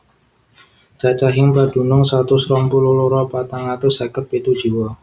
Cacahing padunung satus rong puluh loro patang atus seket pitu jiwa